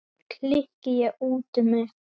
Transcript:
klykki ég út með.